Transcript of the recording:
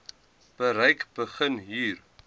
bereik begin hier